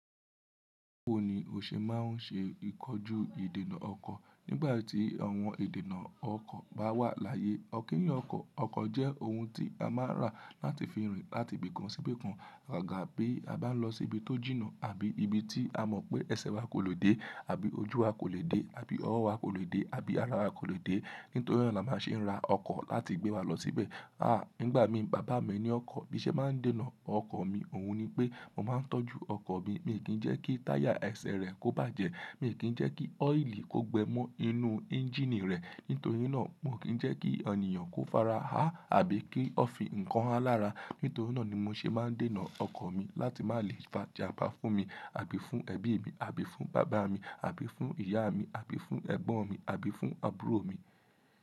Báwo ni o ṣe máa ń ṣe ìkojú ìdènà ọkọ̀ nígbà tí àwọn ìdènà ọkọ̀ bá wà láyé? Ó kí èyàn ọkọ̀. Ọkọ̀ jẹ́ ohun tí a máa ń rà láti fi rìn láti ibì kan sí ibì kan àgàbí a bá ń lọ sí ibi tó jìnnà àbí ibi tí a mọ̀ pé ẹsẹ̀ wa kò lè dé àbí ojú wa kò lè dé àbí ọwọ́ wa kò lè dé àbí ara wa kò lè dé. Nítorí náà la máa ṣe ń ra ọkọ̀ láti gbé wa lọ síbẹ̀. Nígbà mi baba mi ní ọkọ̀, bí i ṣe máa ń dènà ọkọ̀ mi, òun ni pé mo máa ń tọ́jú ọkọ̀ mi. Mi kí ń jẹ́ kí táyà ẹsẹ̀ rẹ̀ kó bàjẹ́, mi kí ń jẹ́ kí ọ́ìlì kó gbẹ mọ́ inú ẹ́ńjíìnì rẹ̀. Nítorí náà, mo ò kí ń jẹ́ kí à nìyàn kó fara hà àbí kí ó fi nǹkan há lára. Nítorí náà ni mo ṣe máa ń dènà ọkọ̀ mi láti má lè fa ìjà bá fún mi àbí fún ẹbí mi àbí fún bàbá mi àbí fún ìyá mi àbí fún ẹ̀gbọ́n mi àbí fún àbúrò mi.